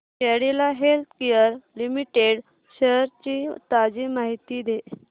Cadila healthcare limited shares ची ताजी माहिती दे